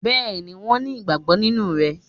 Béeni wọ́n ni ìgbàgbọ́ nínú rẹ